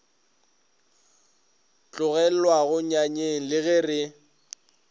tlogelwago nyanyeng le ge re